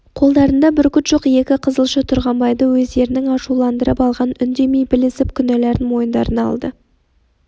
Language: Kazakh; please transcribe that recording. қолдарында бүркіт жоқ екі қызылшы тұрғанбайды өздерінің ашуландырып алғанын үндемей білісіп кінәларын мойындарына алды